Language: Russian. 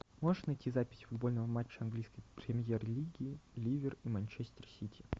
можешь найти запись футбольного матча английской премьер лиги ливер и манчестер сити